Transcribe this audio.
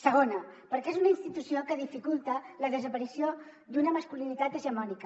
segona perquè és una institució que dificulta la desaparició d’una masculinitat hegemònica